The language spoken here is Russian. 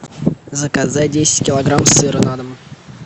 заказать десять килограмм сыра на дом